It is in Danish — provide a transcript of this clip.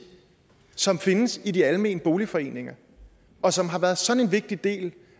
som findes i de almene boligforeninger og som har været sådan en vigtig del